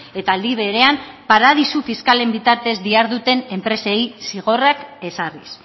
eta aldi berean paradisu fiskalen bitartez diharduten enpresei zigorrak ezarriz